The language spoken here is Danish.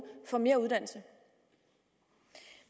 får mere uddannelse